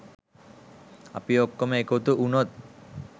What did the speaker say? අපි ඔක්කොම එකතු උනොත්